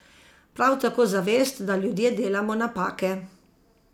Prav tako zavest, da ljudje delamo napake.